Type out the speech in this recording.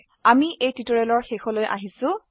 আমি এই টিউটৰিয়েলে শেষলৈ আহিলো